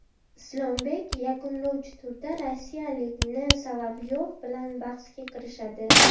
Islombek yakunlovchi turda rossiyalik N. Solovyov bilan bahsga kirishadi.